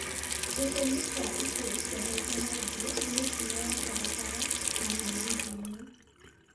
Gĩtũmi kia ikuũ icio maita maingĩ nĩ mĩtino ya bara na mĩgithi-inĩ.